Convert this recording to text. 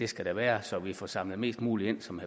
skal være så vi får samlet mest muligt ind som